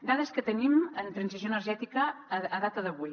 dades que tenim en transició energètica a data d’avui